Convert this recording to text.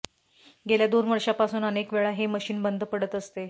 गेल्या दोन वर्षांपासून अनेकवेळा हे मशिन बंद पडत असते